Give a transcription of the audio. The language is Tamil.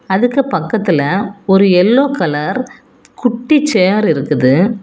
அதுக்கு பக்கத்துல ஒரு எல்லோ கலர் குட்டி சேர் இருக்குது.